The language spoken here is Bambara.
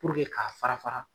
k'a fara fara.